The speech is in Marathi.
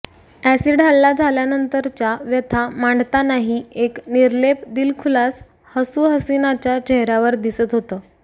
अॅसिड हल्ला झाल्यानंतरच्या व्यथा मांडतानाही एक निर्लेप दिलखुलास हसू हसीनाच्या चेहऱ्यावर दिसत होतं